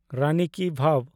ᱨᱟᱱᱤ ki ᱵᱷᱟᱣ